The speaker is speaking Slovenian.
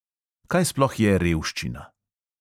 Kaj sploh je revščina?